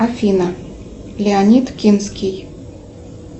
афина леонид кинский